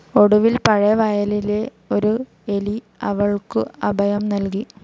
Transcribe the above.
ഒടുവിൽ പഴയ വയലിലെ ഒരു എലി അവൾക്കു അഭയം നൽകി.